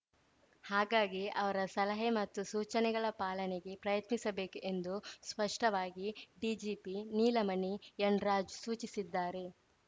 ಹಾಗಾಗಿ ಅವರ ಸಲಹೆ ಮತ್ತು ಸೂಚನೆಗಳ ಪಾಲನೆಗೆ ಪ್ರಯತ್ನಿಸಬೇಕು ಎಂದು ಸ್ಪಷ್ಟವಾಗಿ ಡಿಜಿಪಿ ನೀಲಮಣಿ ಎನ್‌ರಾಜು ಸೂಚಿಸಿದ್ದಾರೆ